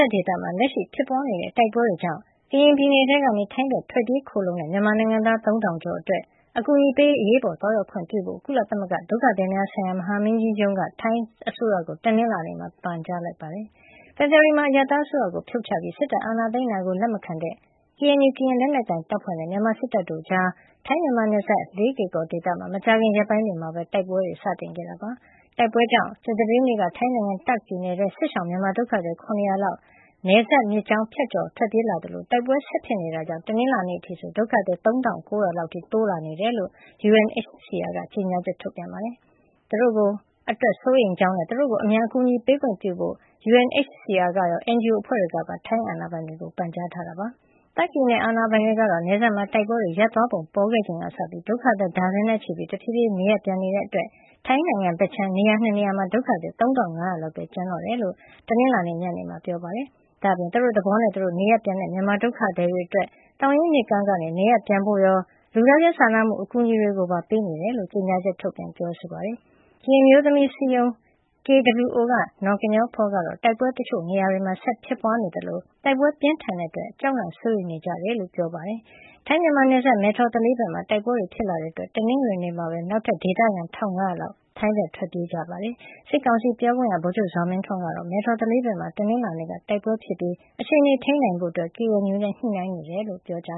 ပ်ဒေသမှာ လက်ရှိဖြစ်ပွါးနေတဲ့ တိုက်ပွဲတွေကြောင့် ကရင်ပြည်နယ်ထဲကနေ ထိုင်းဘက်ကို ထွက်ပြေးခိုလှုံကြတဲ့ မြန်မာနိုင်ငံသား ၃၀၀၀ ကျော်အတွက် အကူအညီတွေပေးရေး အရေးပေါ်သွားရောက်ခွင့်ပြုဖို့ ကုလသမဂ္ဂဒုက္ခသည်များဆိုင်ရာ မဟာမင်းကြီးရုံး UNHCR က ထိုင်းအစိုးရကို တနင်္လာနေ့မှာ ပန်ကြားလိုက်ပါတယ်။ ဖေဖေါ်ဝါရီလမှာ အရပ်သားအစိုးရကို ဖြုတ်ချပြီး စစ်တပ်အာဏာသိမ်းတာကို လက်မခံတဲ့ KNU ကရင်လက်နက်ကိုင်တပ်ဖွဲ့ နဲ့ မြန်မာစစ်တပ် တို့ကြား ထိုင်းမြန်မာနယ်စပ် လေးကေကော်ဒေသမှာ မကြာခင်ရက်ပိုင်းမှာပဲ တိုက်ပွဲတွေ စတင်ခဲ့တာပါ။ တိုက်ပွဲတွေကြောင့် ကြာသပတေးနေ့က ထိုင်းနိုင်ငံ တာခ့် ပြည်နယ်ထဲကို စစ်ရှောင် မြန်မာဒုက္ခသည် ၇၀၀ လောက် နယ်စပ်မြစ်ကြောင်းကို ဖြတ်ကျော် ထွက်ပြေးလာသလို တိုက်ပွဲဆက်ဖြစ်နေတဲ့အတွက် တနင်္လာနေ့မှာအထိဆို ဒုက္ခသည်က ၃၉၀၀ လောက် အထိ တိုးလာနေတယ်လို့ UNHCR က ကြေညာချက် ထုတ်ပြန်ပြောဆိုပါတယ်။ ဒီဒုက္ခသည်တွေ အတွက် UNHCR က စိုးရိမ်ကြောင်းနဲ့ သူတို့ကို အမြန် အကူညီပေးခွင့်ပြုဖို့ UNHCR ကရော NGO အဖွဲ့တွေကပါ ထိုင်းအာဏာပိုင်တွေကို ပန်ကြားခဲ့တယ်လို့လည်း ဖေါ်ပြထားပါတယ်။ တာခ် ပြည်နယ်အာဏာပိုင်တွေကတော့ နယ်စပ်မှာ တိုက်ပွဲတွေရပ်သွားပုံ ပေါ်ခဲ့ချိန်ကစပြီး ဒုက္ခသည် ဒါဇင်နဲ့ချီပြီး တဖြေးဖြေး နေရပ်ပြန်နေကြတာကြောင့် ထိုင်းနိုင်ငံဘက်ခြမ်းက နေရာ ၂ နေရာမှာ ဒုက္ခသည် ၃၅၀၀ လောက်ပဲ ကျန်တော့တယ်လို့ တနင်္လာနေ့ ညနေပိုင်းမှာ ပြောပါတယ်။ ဒါ့အပြင် သူတို့သဘောနဲ့သူတို့ နေရပ်ပြန်တဲ့ မြန်မာဒုက္ခသည်တွေအတွက် သောင်ရင်းမြစ်ကမ်းကနေ နေရပ်ပြန်ဖို့ရော လူသားချင်းစာနာမှု အကူညီတွေပါ ပေးနေကြောင်း ကြေညာချက်ထုတ်ပြန်ခဲ့ပါတယ်။ ကရင်အမျိုးသမီးအစည်းအရုံး KWO က နော်ကညောဖော ကတော့ တိုက်ပွဲတွေ တချို့နေရာတွေမှာ ဆက်လက်ဖြစ်ပွါးနေသလို တိုက်ပွဲပြင်းထန်တဲ့အတွက် အများစုက ကြောက်လန့်စိုးရိမ်နေကြ ကြောင်းပြောတယ်လို့ AFP မှာ ဖေါ်ပြထားပါတယ်။ ထိုင်းမြန်မာနယ်စပ် မယ်ထော်သလေးဘက်မှာလည်း တိုက်ပွဲတွေ ဖြစ်လာတဲ့အတွက် တနင်္ဂနွေနေ့မှာပဲ နောက်ထပ် ဒေသခံ ၁၅၀၀ လောက် ထိုင်းဘက် ထွက်ပြေးခိုလှုံခဲ့ကြတာပါ။ စစ်ကောင်စီပြောခွင့်ရ ဗိုလ်ချုပ်ဇော်မင်းထွန်းကတော့ မယ်ထော်သလေးဘက်မှာ တနင်္လာနေ့က တိုက်ပွဲဖြစ်ခဲ့ပြီး အခြေနေကိုထိန်းနိုင်ဖို့ KNU နဲ့ ညှိနှိုင်းနေတယ်လို့ ပြောကြ